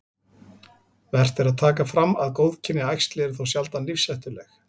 Vert er að taka fram að góðkynja æxli eru þó sjaldan lífshættuleg.